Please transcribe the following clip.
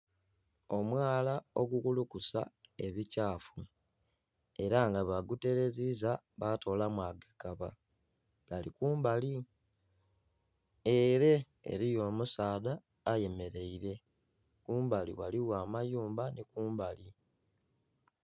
Omwala ogukulukusa ebikyafu era nga baaguteleziza baatolamu agakaba, gali kumbali. Ele eliyo omusaadha ayemeleire, kumbali ghaligho amayumba nhi kumbali.